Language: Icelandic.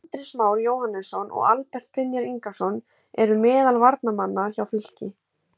Andrés Már Jóhannesson og Albert Brynjar Ingason eru meðal varamanna hjá Fylki.